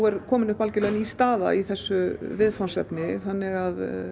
er komin upp algjörlega ný staða í þessu viðfangsefni þannig að